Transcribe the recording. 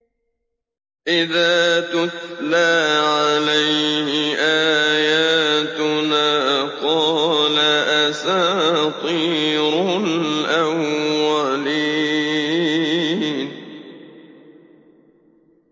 إِذَا تُتْلَىٰ عَلَيْهِ آيَاتُنَا قَالَ أَسَاطِيرُ الْأَوَّلِينَ